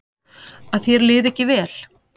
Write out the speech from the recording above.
Að þér liði ekki vel.